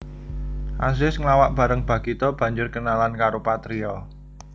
Azis nglawak bareng Bagito banjur kenalan karo Patrio